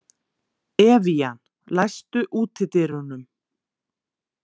Evían, læstu útidyrunum.